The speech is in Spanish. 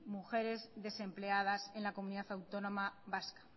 mujeres desempleadas en la comunidad autónoma vasca